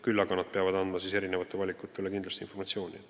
Küll aga peavad nad andma informatsiooni eri valikute kohta.